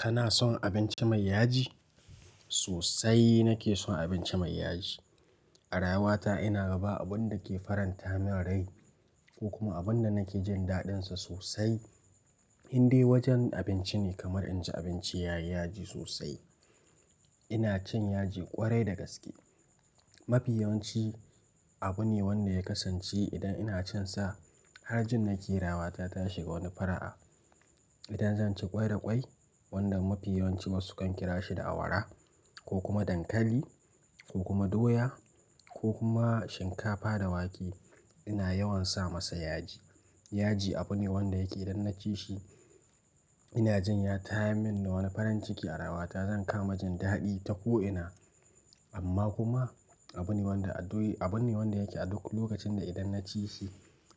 Kana son abinci mai yaji? Sosai nake son abinci mai yaji. A rayuwa ta ina ga ba abin da ke faranta min rai ko kuma abin da nake jin daɗinsa sosai. Inde wajen abinci ne kamar inji abinci yayi yaji sosai. Ina cin yaji ƙwarai da gaske. Mafi yawanci abu ne wanda ya kasance idan ina cin sa har jin na ke rayuwa ta ta shiga wani fara'a. Idan zan ci ƙwai da ƙwai, wanda mafi yawanci wasu kan ƙira shi da awara ko kuma dankali ko kuma doya ko kuma shinkafa da wake, ina yawan sa masa yaji. Yaji abu ne wanda yake idan na ci shi ina jin ya tayar min da wani farin ciki a rayuwa ta, zan kama jin daɗi ta ko ina. Amma kuma abu ne wanda a doyi-- abu ne wanda yake a duk lokacin da idan naci shi